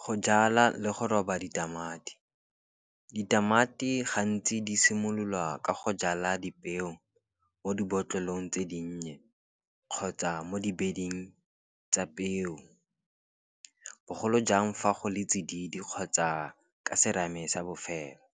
Go jala le go roba ditamati, ditamati gantsi di simololwa ka go jala dipeo mo dibotlolong tse dinnye, kgotsa mo dibeding tsa peo. Bogolo jang fa go le tsididi kgotsa ka serame sa bofelo,